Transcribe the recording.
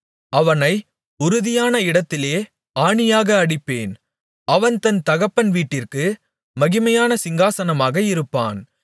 அவனை உறுதியான இடத்திலே ஆணியாக அடிப்பேன் அவன் தன் தகப்பன் வீட்டிற்கு மகிமையான சிங்காசனமாக இருப்பான்